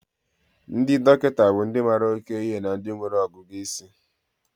Ndị dọkịta bụ ndị mara oke ihe na ndị nwere ọgụgụ isi.